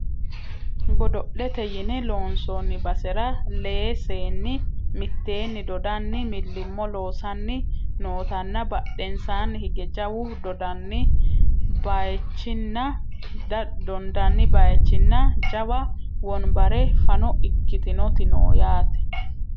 godo'lete yine loonsoonni basera lee seenni mitteenni dodanni millimmo loosanni nootanna badhensaani hige jawu dondani bayeechinna jawa wonbarra fano ikkitinoti no yaate